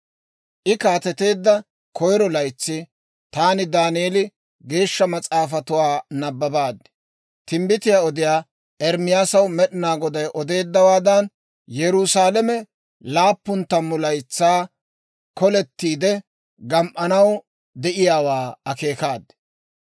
I kaateteedda koyiro laytsi, taani Daaneeli, Geeshsha Mas'aafatuwaa nabbabaad; timbbitiyaa odiyaa Ermaasaw Med'inaa Goday odeeddawaadan Yerusaalame laappun tammu laytsaa kolettiide gam"anaw de'iyaawaa akeekaad.